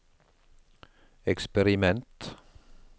eksperiment